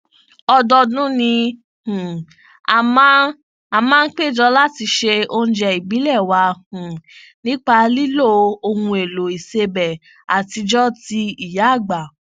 ọdọọdún ni um a máa a máa n péjọ láti se oúnjẹ ìbílẹ wa um nípa lílo ohunèlò ìsebẹ àtijọ ti ìyáàgbà